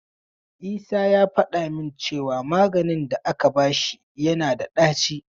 Isa ya faɗa min cewa maganin da aka bashi yana da ɗaci.